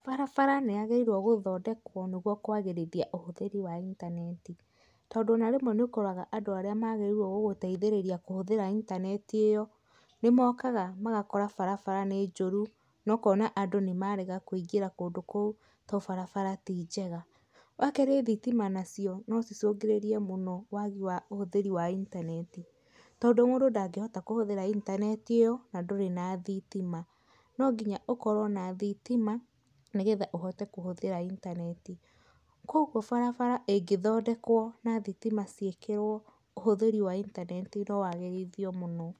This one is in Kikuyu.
Barabara nĩ yagĩrĩirwo gũthondekwo nĩgũo kũagĩrĩthia ũhũthĩri wa intanetit ondũ ona rĩmwe nĩ ũkoraga andũ aria magĩrĩirwo gũgũteĩthĩrĩria kũhũthĩra intaneti ĩyo nĩ mokaga magakora barabara nĩ njũru na ũkoma andũ nĩ marega kũĩngĩra kũndũ kũu to barabara tĩ njega wakerĩ thitima nacio no ĩcũngĩrĩrie mũno wagi wa ũhũthĩri wa intaneti tondũ mũndũ ndangĩhota kũhũthĩra intaneti ĩyo na ndũrĩ na thitima no nginya ũkorwo na thitima no getha ũhote kũhũthĩra i intaneti kũogwo barabara ĩngĩthondekwo na thitima ciĩkĩrwo ũhũthĩri wa intaneti no wagĩrithio mũno.